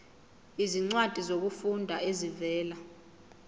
izincwadi zokufunda ezivela